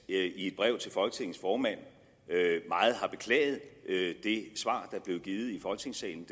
i et brev til folketingets formand meget har beklaget det svar der blev givet i folketingssalen